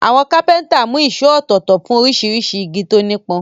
Àwọn kápẹ́ntà mú ìṣó ọ̀tọ̀ọ̀tọ̀ fún oríṣiríṣi igi tó nípọn.